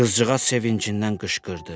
Qızcığaz sevincindən qışqırdı.